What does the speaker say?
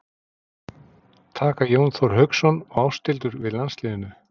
Taka Jón Þór Hauksson og Ásthildur við landsliðinu?